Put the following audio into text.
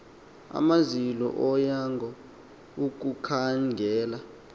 amaziko onyango ukukhangela